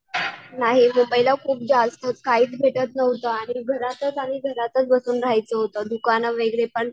नाही गं पहिला खूप जास्त काहीच भेटत नव्हतं आणि घरात तर चांगलं घरातच बसून राहायचं होतं, दुकानं वगैरे पण